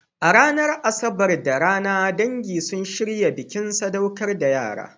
A ranar Asabar da rana, dangi sun shirya bikin sadaukar da yara.